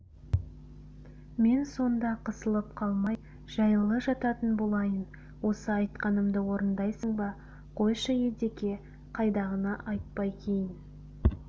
мен сонда қысылып қалмай жайлы жататын болайын осы айтқанымды орындайсың ба қойшы едеке қайдағыны айтпай кейін